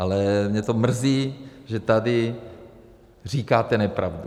Ale mě to mrzí, že tady říkáte nepravdu.